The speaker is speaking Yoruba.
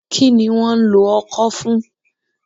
Kí ni wọ́n ń lò ọ́kọ fún?